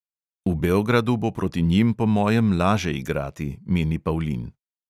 V beogradu bo proti njim po mojem laže igrati, meni pavlin.